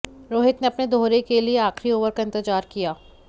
रोहित ने अपने दोहरे के लिए आखिरी ओवर का इंतजार किया